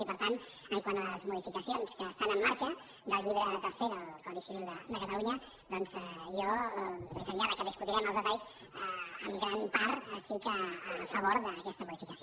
i per tant quant a les modificacions que estan en marxa del llibre tercer del codi civil de catalunya doncs jo més enllà que en discutirem els detalls en gran part estic a favor d’aquesta modificació